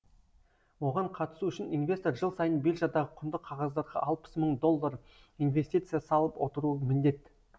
оған қатысу үшін инвестор жыл сайын биржадағы құнды қағаздарға алпыс мың доллар инвестиция салып отыруы міндет